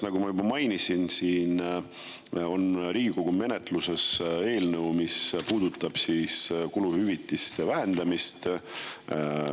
Nagu ma juba mainisin, Riigikogu menetluses on eelnõu, mis puudutab kuluhüvitiste vähendamist.